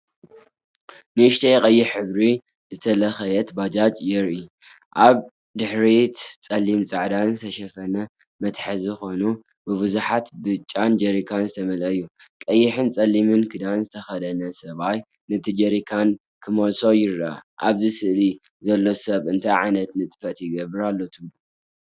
ንእሽቶ ቀይሕ ሕብሪ ዝተለኽየት ባጃጀ የርኢ። ኣብ ድሕሪት ጸሊምን ጻዕዳን ዝተሸፈነ መትሓዚ ኮይኑ፡ ብብዙሓት ብጫን ጀሪካን ዝተመልአ እዩ። ቀይሕን ጸሊምን ክዳን ዝተከደነ ሰብኣይ ነቲ ጀሪካን ክመልኦ ይረአ። ኣብ ስእሊ ዘሎ ሰብ እንታይ ዓይነት ንጥፈት ይገብር ኣሎ ትብሉ?